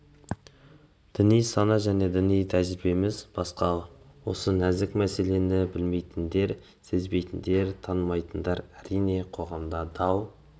діни сана және діни тәжірибеміз басқа осы нәзік мәселені білмейтіндер сезбейтіндер танымайтындар әрине қоғамда дау